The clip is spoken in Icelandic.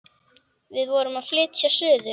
Við vorum að flytja suður.